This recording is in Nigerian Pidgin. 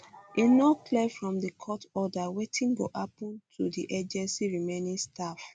um e no clear from di court order wetin go happun to di agency remaining staff